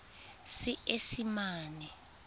seesimane